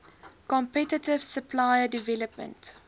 competitive supplier development